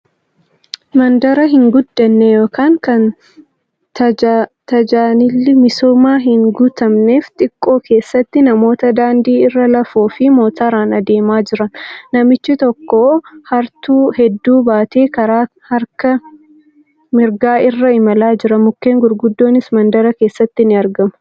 Mandara hin guddanne yookan kan tajaanilli misoomaa hin guutamneef xiqqoo keessatti namoota daandii irra lafoo fi motoraan adeemaa jiran. Namichi tokko hartuu hedduu baatee karaa harka mirgaa irra imalaa jira. Mukkeen gurguddoonis mandara keessatti ni argamu.